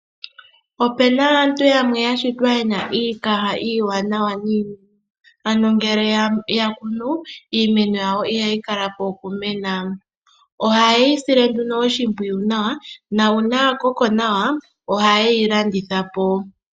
Opena aantu yamwe yashitwa yena iikaha iiwanawa niimeno, ano ngele ya kunu iimeno yawo ihayi kala po okumena. Ohaye yi sile nduno oshimpwiyu nawa na uuna ya koko nawa ohaye yi landitha po.